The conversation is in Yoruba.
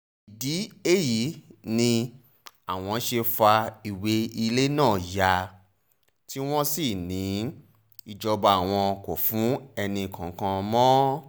ìdí èyí ni àwọn ṣe fa ìwé ilẹ̀ náà ya tí wọ́n sì ní ìjọba àwọn kò fún ẹnìkankan mọ́